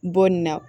Bon nin na